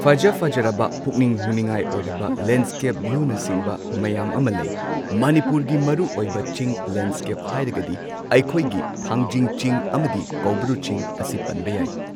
ꯐꯖ ꯐꯖꯔꯕ ꯄꯨꯛꯅꯤꯡ ꯍꯨꯅꯤꯡꯉꯥꯏ ꯑꯣꯏꯔꯕ ꯂꯦꯟꯁ꯭ꯀꯦꯞ ꯚ꯭ꯌꯨꯅꯆꯤꯡꯕ ꯃꯌꯥꯝ ꯑꯃ ꯂꯩ ꯃꯅꯤꯄꯨꯔꯒꯤ ꯃꯔꯨꯑꯣꯏꯕ ꯆꯤꯡ ꯂꯦꯟꯁ꯭ꯀꯦꯞ ꯍꯥꯏꯔꯒꯗꯤ ꯑꯩꯈꯣꯏꯒꯤ ꯊꯥꯡꯖꯤꯡ ꯆꯤꯡ ꯑꯃꯗꯤ ꯀꯧꯕ꯭ꯔꯨ ꯆꯤꯡ ꯑꯁꯤ ꯄꯟꯕ ꯌꯥꯏ꯫